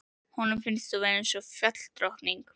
Honum finnst þú vera eins og fjalladrottning.